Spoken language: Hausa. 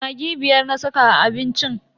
Maggi biyar na saka a abincin.